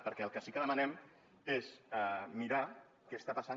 perquè el que sí que demanem és mirar què està passant